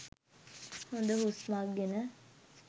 හොද හුස්මක් ගෙන